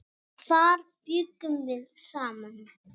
Þar bjuggum við saman.